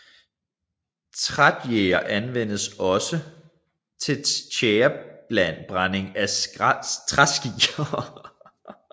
Trætjære anvendes også til tjærebrænding af træski